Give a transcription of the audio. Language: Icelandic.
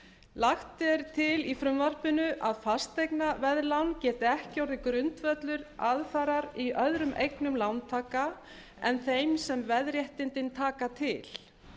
lagt er til í frumvarpinu að fasteignaveðlán geti ekki orðið grundvöllur aðfarar í öðrum eignum lántaka en þeim sem veðréttindin taka til